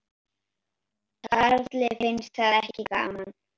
Karli fannst það ekki gaman.